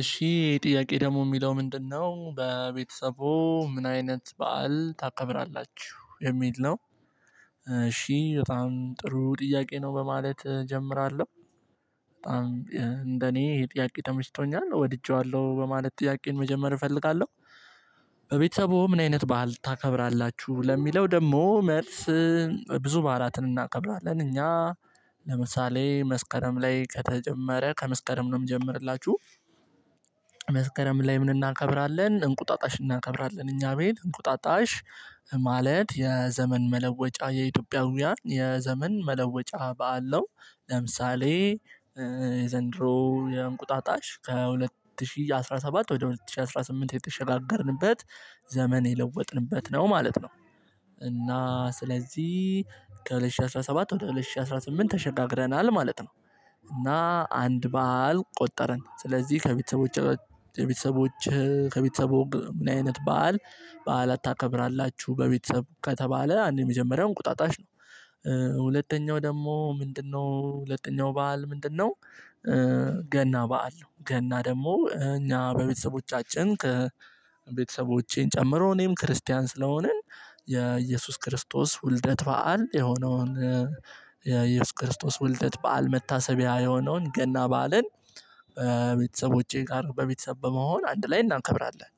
እሺ ጥያቄ ደግሞ የሚለው ምንድነው በቤተሰቦ ምን አይነት በዓል ታከብራላችሁ የሚል ነው እሺ በጣም ጥሩ ጥያቄ ነው በማለት እጀምራለሁ በጣም እንደኔ ጥያቄ ተመሽቶኛል ወድጄዋለሁ በማለት ጥያቄን መጀመር እፈልጋለሁ በቤተሰቦ ምን አይነት ባህል ታከብራላችሁ ለሚለው ደግሞ መልስ ብዙ በዓላትን እናከብራለን እኛ ለምሳሌ መስከረም ላይ ከተጀመረ ከመስከረም ነው የምጀምርላችሁ መስከረም ላይ ምን እናከብራለን እንቁጣጣሽ እናከብራለን እኛ ቤት እንቁጣጣሽ ማለት የዘመን መለወጫ የኢትዮጵያውያን የዘመን መለወጫ በዓል ለምሳሌ የዘንድሮ የእንቁጣጣሽ ከሁለት ሺህ አስራ ሰባት ወደ ሁለት ሺህ አስራ ስምንት የተሸጋገርንበት ዘመን የለወጥንበት ነው ማለት ነው እና ስለዚህ ከሁለት ሺህ አስራ ሰባት ወደ ሁለት ሺህ አስራ ስምንት ተሸጋግረናል ማለት ነው እና አንድ በዓል ቆጠርን ስለዚህ ከቤተሰቦች ከቤተሰቦች ከቤተሰቦች ምን አይነት በዓል በዓል ታከብራላችሁ በቤተሰብ ከተባለ አንድ የመጀመሪያው እንቁጣጣሽ ነው ሁለተኛው ደግሞ ምንድነው ሁለተኛው በዓል ምንድነው ገና በዓል ነው ገና ደግሞ እኛ በቤተሰቦቻችን ቤተሰቦቼን ጨምሮ እኔም ክርስቲያን ስለሆንን የኢየሱስ ክርስቶስ ውልደት በዓል የሆነውን የኢየሱስ ክርስቶስ ወልደት በዓል መታሰቢያ የሆነውን ገና በዓልን በቤተሰቦቼ ጋር በቤተሰብ በመሆን አንድ ላይ እናከብራለን።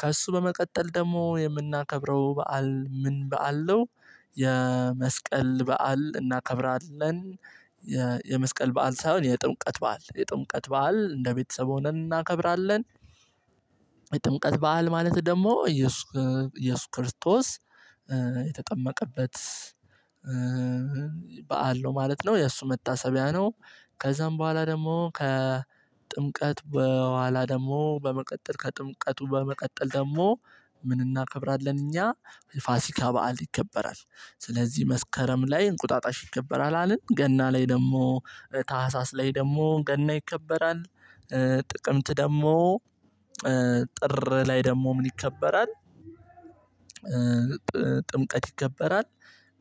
ከእሱ በመቀጠል ደግሞ የምናከብረው በዓል ምን በዓል ነው የመስቀል በዓል እናከብራለን የመስቀል በዓል ሳይሆን የጥምቀት በዓል የጥምቀት በዓል እንደ ቤተሰብ ሆነን እናከብራለን። የጥምቀት በዓል ማለት ደግሞ ኢየሱስ ክርስቶስ የተጠመቀበት በዓል ነው ማለት ነው። የእሱ መታሰቢያ ነው ከዛም በኋላ ደግሞ ከጥምቀት በኋላ ደግሞ በመቀጠል ከጥምቀቱ በመቀጠል ደግሞ ምን እናከብራለን እኛ ፋሲካ በዓል ይከበራል ስለዚህ መስከረም ላይ እንቁጣጣሽ ይከበራል አልን ገና ላይ ደግሞ ታህሳስ ላይ ደግሞ ገና ይከበራል ጥቅምት ደግሞ ጥር ላይ ደግሞ ምን ይከበራል ጥምቀት ይከበራል።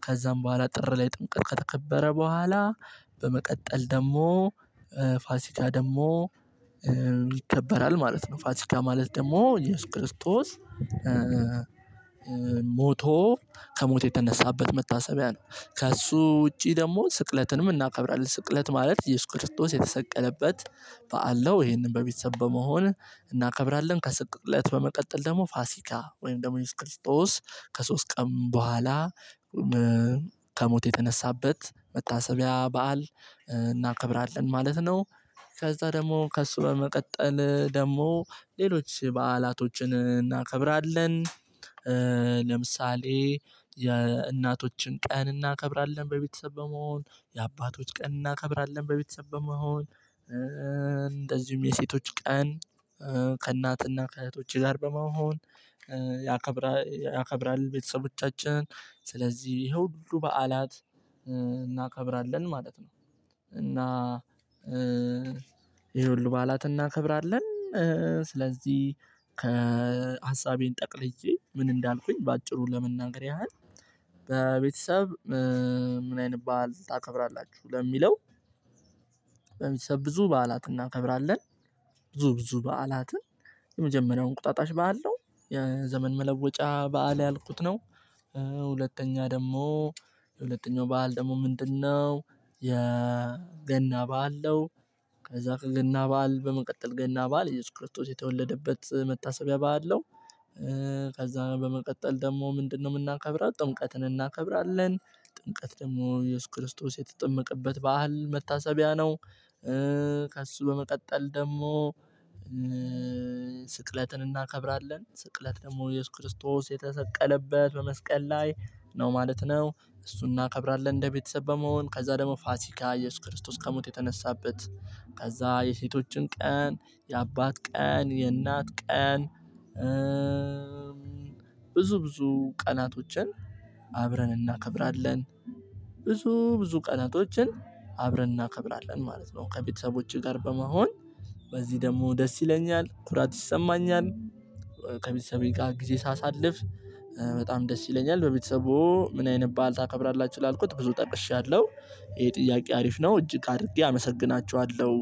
ከዛም በኋላ ጥር ላይ ጥምቀት ከተከበረ በኋላ በመቀጠል ደግሞ ፋሲካ ደግሞ ይከበራል ማለት ነው። ፋሲካ ማለት ደግሞ ኢየሱስ ክርስቶስ ሞቶ ከሞት የተነሳበት መታሰቢያ ነው። ከእሱ ውጪ ደግሞ ስቅለትንም እናከብራለን። ስቅለት ማለት ኢየሱስ ክርስቶስ የተሰቀለበት በዓል ነው ይሄንን በቤተሰብ በመሆን እናከብራለን ከሰቀጥለት በመቀጠል ደግሞ ፋሲካ ወይም ደግሞ ኢየሱስ ክርስቶስ ከሶስት ቀን በኋላ ከሞት የተነሳበት መታሰቢያ በዓል እናከብራለን ማለት ነው። ከዛ ደግሞ ከእሱ በመቀጠል ደግሞ ሌሎች በዓላቶችን እናከብራለን። ለምሳሌ የእናቶችን ቀን እናከብራለን፤ በቤተሰብ በመሆን የአባቶች ቀን እናከብራለን በቤተሰብ በመሆን፤ እንደዚሁም የሴቶች ቀን ከእናትና ከእህቶች፤ ጋር በመሆን እናከብራል ቤተሰቦቻችን ስለዚህ ይሄ ሁው ሁሉ በዓላት እናከብራለን ማለት ነው። እና ይሄ ሁሉ በዓላት እናከብራለን ስለዚህ ከሀሳቤን ጠቅልዬ ምን እንዳልኩኝ በአጭሩ ለመናገር ያህል በቤተሰብ ምን አይነት ባል ታከብራላችሁ ለሚለው በሚሰብ ብዙ በዓላት እናከብራለን ብዙ ብዙ በዓላትን የመጀመሪያው እንቁጣጣሽ በዓል ነው። የዘመን መለወጫ በዓል ያልኩት ነው። ሁለተኛ ደግሞ የሁለተኛው በዓል ደግሞ ምንድነው የገና በዓል ነው። ከዛ ገና በዓል በመቀጠል ገና በዓል እየሱስ ክርስቶስ የተወለደበት መታሰቢያ በዓል ነው። ከዛ በመቀጠል ደግሞ ምንድነው የምናከብረው ጥምቀት እናከብራለን ጥምቀት ደግሞ ኢየሱስ ክርስቶስ የተጠመቀበት በዓል መታሰቢያ ነው ከእሱ በመቀጠል ደግሞ ስቅለትን እናከብራለን። ስቅለት ደግሞ ኢየሱስ ክርስቶስ የተሰቀለበት በመስቀል ላይ ነው ማለት። ነው እሱን እናከብራለን እንደ ቤተሰብ በመሆን ከዛ ደግሞ ፋሲካ ኢየሱስ ክርስቶስ ከሞት የተነሳበት፤ ከዛ የሴቶችን ቀን የአባት ቀን የእናት ቀን ብዙ ብዙ ቀናት ውጭን አብረን እናከብራለን ብዙ ብዙ ቀናቶችን አብረን እናከብራለን። ማለት ነው ከቤተሰቦቼ ጋር በመሆን በዚህ ደግሞ ደስ ይለኛል ኩራት ይሰማኛል ከቤተሰቤ ጋር ጊዜ ሳሳልፍ በጣም ደስ ይለኛል። በቤተሰቡ ምን አይነባል ታከብራላችሁ ላልኩት ብዙ ጠቅሻለሁ ይሄ ጥያቄ አሪፍ ነው እጅግ አድርጌ አመሰግናችኋለሁ።